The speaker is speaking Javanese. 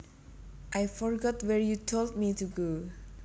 I forgot where you told me to go